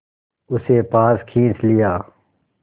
उसे पास खींच लिया